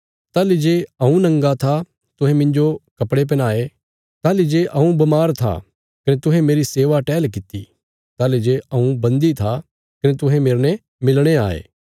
ताहली जे हऊँ नंगा था तुहें मिन्जो कपड़े पैहनाये ताहली जे हऊँ बमार था कने तुहें मेरी सेवा टहल किति ताहली जे हऊँ बन्दी था कने तुहें मेरने मिलणे आये